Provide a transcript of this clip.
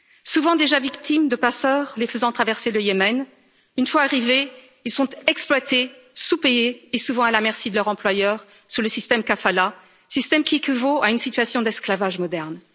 Souvent déjà victimes de passeurs les faisant traverser le Yémen, une fois arrivés, ils sont exploités, sous payés et souvent à la merci de leur employeur sous le système kafala système qui équivaut à une situation d'esclavage moderne.